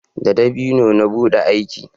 da dabino na buɗe aki